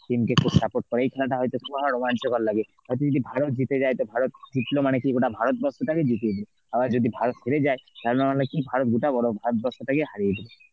team কে একটু support করে এই খেলাটা হয়তো তোমার রোমাঞ্চকর লাগে তাতে যদি ভারত জিতে যায় এত ভারত জিতলো মানে কি, গোটা ভারতবর্ষ টাকে জিতিয়ে দিল. আবার যদি ভারত হেরে যায় ভারত ভারতবর্ষ টাকে হারিয়ে দিল.